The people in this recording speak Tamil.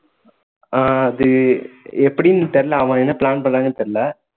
ஆஹ் அது எப்படின்னு தெரியல அவன் என்ன plan பண்றான்னு தெரியல